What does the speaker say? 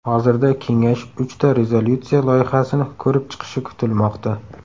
Hozirda Kengash uchta rezolyutsiya loyihasini ko‘rib chiqishi kutilmoqda.